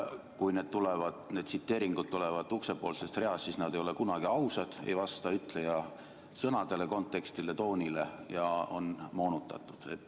Kui need tsiteeringud tulevad uksepoolsest reast, siis ei ole need kunagi ausad, ei vasta ütleja sõnadele, kontekstile ega toonile ja on moonutatud.